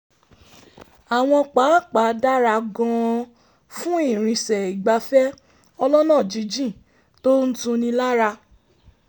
àwọn pápá dára gan-an fún ìrìnsẹ̀ ìgbafẹ́ ọlọ́nà jínjìn tó ń tuni lára